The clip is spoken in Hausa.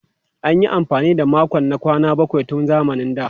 An yi amfani da makon na kwana bakwai tun zamanin da.